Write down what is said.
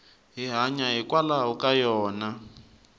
hi hanya hikwalaho ka yona